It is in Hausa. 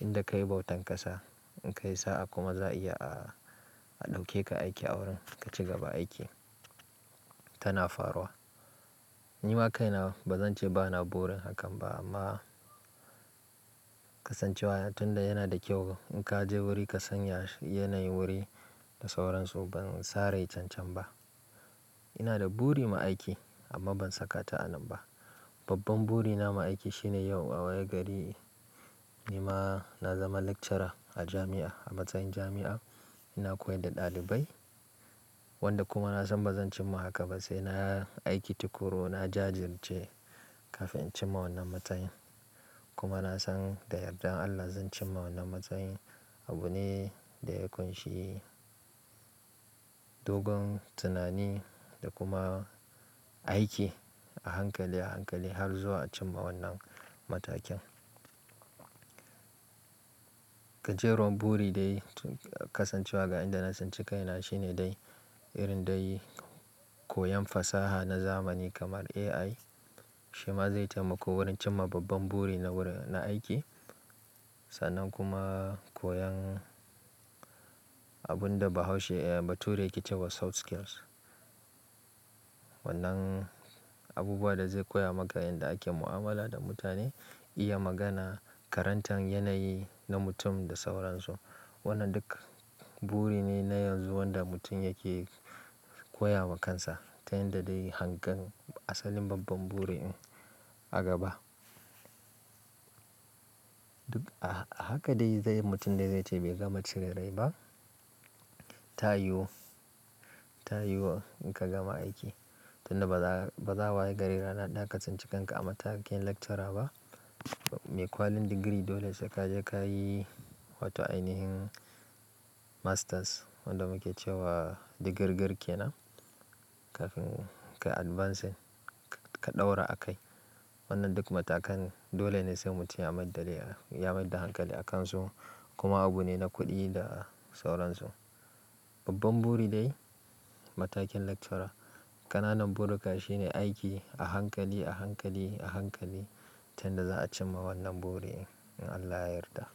Inda kayi bautan ƙasa in ka yi sa'a kuma za a iya a, a ɗauke ka aiki a wurin ka ci gaba aiki tana faruwa. Ni ma kaina ba zan ce ba na burin hakan ba amma kasancewa tunda yana da kyau. In ka je wuri ka san ya, shi yanayin wuri da sauransu ban sare cancan ba. Ina da buri ma aiki amma ban saka ta a nan ba. Babban buri na ma aiki shine yau a waye gari ni ma na zama lecturer a jami'a. A matsayin jami'a ina koyar da ɗalibai wanda kuma na san ba zan cimma haka ba sai na aiki tuƙuru, na jajirce kafin in cin ma wannan matsayin. Kuma na san da yardan Allah zan cimma wannan matsayin. Abu ne da ya ƙunshi dogon tunani da kuma aiki a hankali a hankali har zuwa cin ma wannan matakin. Ka je ruwan buri dai kasancewa ga inda na tsin ci kaina shine dai irin dai koyon fasaha na zamani kamar AI shima zai taimako wurin cimma babban buri na wurin, na aiki. Sannan kuma koyon abun da bahaushe e ba ture yake cewa soft skills. Wannan abubuwa da zai koya maka yanda ake mu'amala da mutane, iya magana, karantan yanayi na mutum da sauransu. Wannan duk buri ne na yanzu wanda mutum yake koya wa kansa tunda dai hangen asalin babban buri in a gaba. Duk a haka dai zai yi mutum dai zai ce bai gama cire rai ba. Ta yiwu, ta yiwu in ka gama aiki tunda ba za, ba za a wayi gari ra na haka ka tsinki kanka a matakin lecturer ba. Me kwalin digiri dole sai ka je ka yi wato ainihin masters wanda muke cewa digirgir ke nan kafin ka advancing ka ɗaura a kai. Wannan duk matakan dole ne sai mutum ya maida dai, ya maida hankali a kan su kuma abu ne na kuɗi da sauransu. Babban buri dai matakin lecturer. Ƙananan buri ka shi ne aiki a hankali a hankali a hankali tunda za a cimma wannan buri in Allah ya yarda.